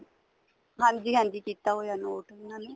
ਹਾਂਜੀ ਹਾਂਜੀ ਕੀਤਾ ਹੋਇਆ ਨੋਟ ਉਹਨਾ ਨੇ